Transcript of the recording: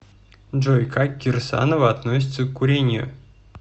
джой как кирсанова относиться к курению